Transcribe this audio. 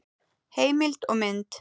Heimild og mynd